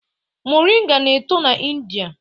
Moringa na-eto na India